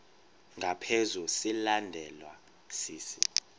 ngaphezu silandelwa sisi